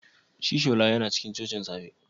Shi shola tana cikin cocin da safe?